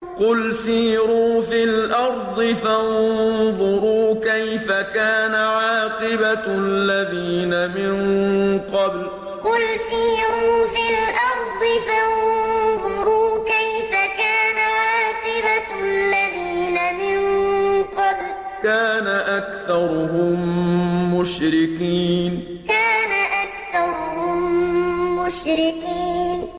قُلْ سِيرُوا فِي الْأَرْضِ فَانظُرُوا كَيْفَ كَانَ عَاقِبَةُ الَّذِينَ مِن قَبْلُ ۚ كَانَ أَكْثَرُهُم مُّشْرِكِينَ قُلْ سِيرُوا فِي الْأَرْضِ فَانظُرُوا كَيْفَ كَانَ عَاقِبَةُ الَّذِينَ مِن قَبْلُ ۚ كَانَ أَكْثَرُهُم مُّشْرِكِينَ